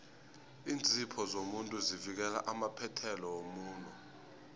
iinzipho zomuntu zivikela amaphethelo womuno